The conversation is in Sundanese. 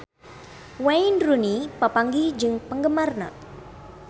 Wayne Rooney papanggih jeung penggemarna